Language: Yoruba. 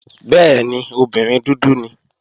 Bẹ́ẹ̀ni, obìnrin dúdú ni.